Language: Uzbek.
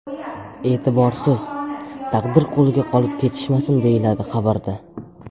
E’tiborsiz, taqdir qo‘liga qolib ketishmasin”, deyiladi xabarda.